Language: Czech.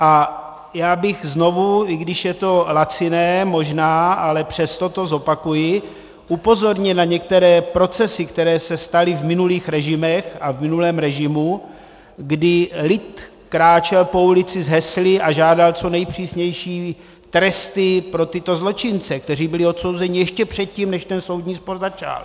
A já bych znovu, i když je to laciné možná, ale přesto to zopakuji, upozornil na některé procesy, které se staly v minulých režimech a v minulém režimu, kdy lid kráčel po ulici s hesly a žádal co nejpřísnější tresty pro tyto zločince, kteří byli odsouzeni ještě předtím, než ten soudní spor začal.